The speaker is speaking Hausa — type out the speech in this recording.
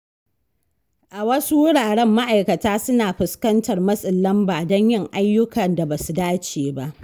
A wasu wuraren, ma’aikata suna fuskantar matsin lamba don yin ayyukan da ba su dace ba.